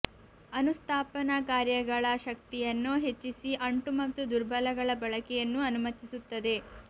ಅನುಸ್ಥಾಪನ ಕಾರ್ಯಗಳ ಶಕ್ತಿಯನ್ನು ಹೆಚ್ಚಿಸಿ ಅಂಟು ಮತ್ತು ದುರ್ಬಲಗಳ ಬಳಕೆಯನ್ನು ಅನುಮತಿಸುತ್ತದೆ